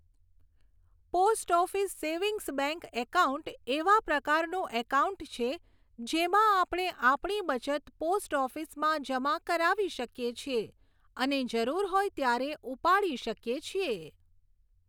Post office savings bank account એવા પ્રકારનું account છે જેમાં આપણે આપણી બચત પોસ્ટ ઓફિસમાં જમા કરાવી શકીએ છીએ અને જરૂર હોય ત્યારે ઉપાડી શકીએ છીએ.